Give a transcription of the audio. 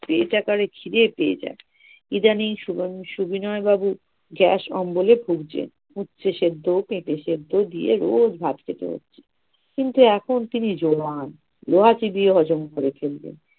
পেট একেবারে খিদে পেয়ে যায়, ইদানিং সুবিন~ সবিনয় বাবু গ্যাস অম্বলে পুড়ছে। উপচে সেদ্ধ পেঁপে সেদ্ধ দিয়ে রোজ ভাত খেতে হচ্ছে কিন্তু এখন তিনি জোয়ান লোহা চিবিয়ে হজম করে ফেলবে